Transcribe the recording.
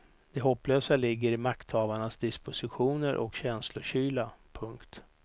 Det hopplösa ligger i makthavarnas dispositioner och känslokyla. punkt